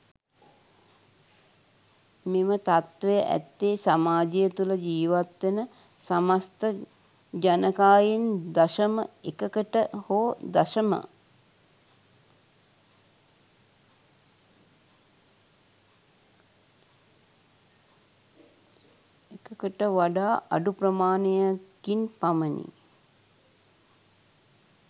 මෙම තත්ත්වය ඇත්තේ සමාජය තුළ ජීවත්වෙන සමස්ථ ජනකායෙන් දශම එකකට හෝ දශම එකකට වඩා අඩු ප්‍රමාණයකින් පමණි.